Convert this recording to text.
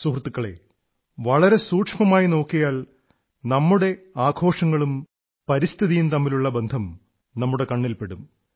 സുഹൃത്തുക്കളേ വളരെ സൂക്ഷ്മമായി നോക്കിയാൽ നമ്മുടെ ആഘോഷങ്ങളും പരിസ്ഥിതിയും തമ്മിലുള്ള ബന്ധം നമ്മുടെ കണ്ണിൽ പെടും